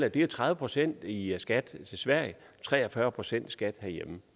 at det er tredive procent i skat til sverige og tre og fyrre procent i skat herhjemme